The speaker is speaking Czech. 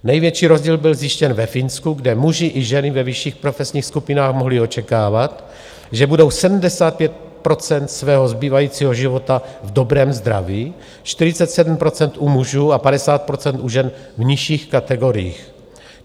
Největší rozdíl byl zjištěn ve Finsku, kde muži i ženy ve vyšších profesních skupinách mohli očekávat, že budou 75 % svého zbývajícího života v dobrém zdraví, 47 % u mužů a 50 % u žen v nižších kategoriích.